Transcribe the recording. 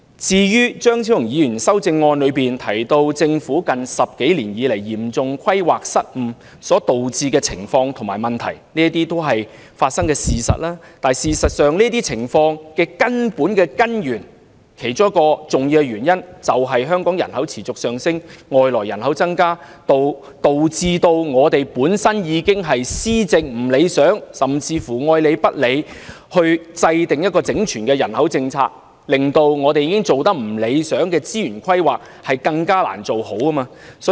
至於張超雄議員的修正案提到政府近10多年來嚴重規劃失誤所導致的情況和問題，這些都是已發生的事實，但造成這些情況的其中一個重要原因，是香港人口持續上升，外來人口增加，導致政府的施政有欠理想，加上當局對制訂整全人口政策愛理不理，令已經做得不理想的資源規劃更難做好。